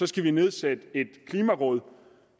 skal vi nedsætte et klimaråd